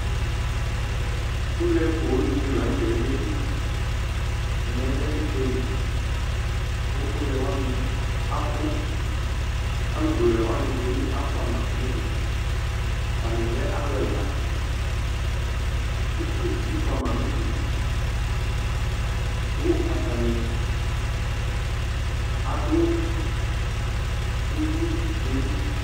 Ʋlɛ poo dini lanʋtɛ yeli ɛmɛ lɛ ʋgbeli kʋ ʋlɛ wani abʋ alʋ bla ʋlɛni dʋ bi afʋama atani lɛ alʋ ɛla ukpi bi fʋama nʋ udu kʋ atani adʋ uwi yɛli